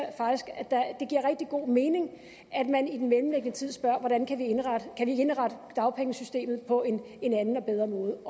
det god mening at man i den mellemliggende tid spørger kan vi indrette dagpengesystemet på en anden og bedre måde